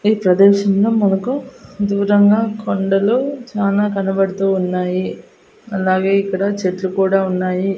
ఈ ప్రదేశంలో మనకు దూరంగా కొండలు చానా కనబడుతూ ఉన్నాయి అలాగే ఇక్కడ చెట్లు కూడా ఉన్నాయి.